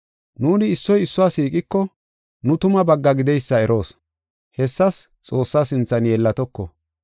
Nuuni issoy issuwa siiqiko, nu tumaa bagga gideysa eroos; hessas Xoossaa sinthan yeellatoko.